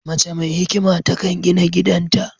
Mace mai hikima ta kan gina gidan ta